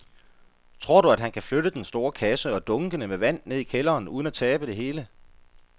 Tror du, at han kan flytte den store kasse og dunkene med vand ned i kælderen uden at tabe det hele?